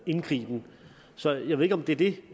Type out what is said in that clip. indgriben så jeg ved ikke om det er det